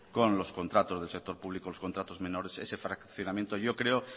con los contratos del sector público contratos menores ese fraccionamiento yo creo